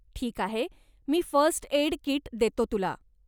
ठीक आहे, मी फर्स्ट एड कीट देतो तुला.